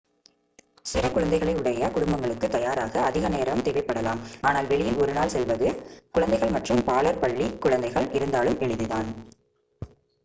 சிறு குழந்தைகளை உடைய குடும்பங்களுக்கு தயாராக அதிக நேரம் தேவைப்படலாம் ஆனால் வெளியில் ஒரு நாள் செல்வது குழந்தைகள் மற்றும் பாலர் பள்ளிக் குழந்தைகள் இருந்தாலும் எளிதுதான்